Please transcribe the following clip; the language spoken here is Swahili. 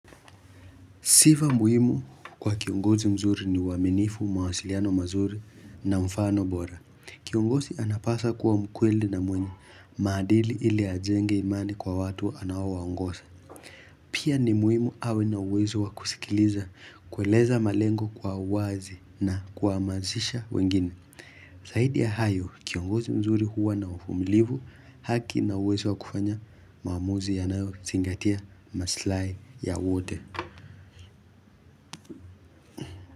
Sifa muhimu kwa kiongozi mzuri ni uaminifu, mawasiliano mazuri na mfano bora. Kiongozi anapaswa kuwa mkweli na mwenye maadili ili ajenge imani kwa watu anaowaongoza. Pia ni muhimu awe na uwezo wa kusikiliza, kueleza malengo kwa uwazi na kuwahamasisha wengine. Zaidi ya hayo, kiongozi mzuri huwa na uvumilivu, haki na uwezo wa kufanya maaamuzi yanayozingatia maslai ya wote.